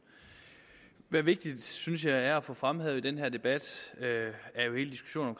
hvad vigtigt synes jeg at få fremhævet i den her debat